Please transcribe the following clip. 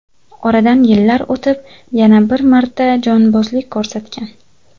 Oradan yillar o‘tib yana bir marta jonbozlik ko‘rsatgan.